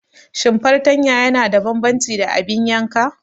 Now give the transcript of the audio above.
Shin fartanya yana da bambanci da abin yanka?